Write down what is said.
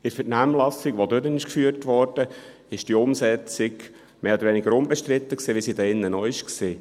In der Vernehmlassung, die durchgeführt wurde, war die Umsetzung mehr oder weniger unbestritten, wie sie hier auch war.